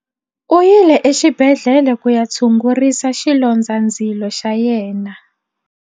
U yile exibedhlele ku ya tshungurisa xilondzandzilo xa yena.